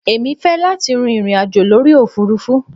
Èmi fẹ́ láti rin ìrìn àjò lórí òfurufú.